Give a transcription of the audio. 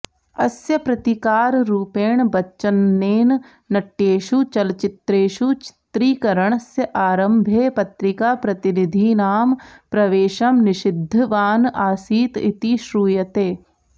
अस्य प्रतीकाररूपेण बच्चनेन नट्येषु चलच्चित्रेषु चित्रीकरणस्य आरम्भे पत्रिकाप्रतिनिधीनां प्रवेशं निषिद्धवान् आसीत् इति श्रूयते